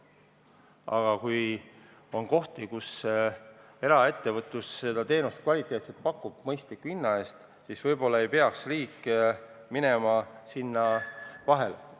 Aga kui on kohti, kus eraettevõtlus seda teenust kvaliteetselt ja mõistliku hinna eest pakub, siis võib-olla ei peaks riik minema sinna vahele.